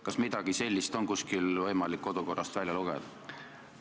Kas midagi sellist on võimalik kodukorrast välja lugeda?